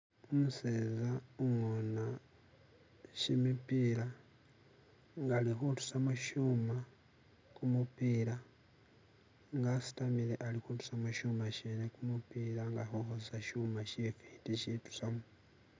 Umuseza ungona jimipira nga alikutusilamo ishuma gumupiira nga asitamile alikutusamo ishuma shene gumupiira nga alikutambisa ishuma shifiti ishitusamo.